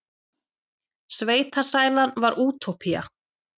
Sveitasælan var útópía.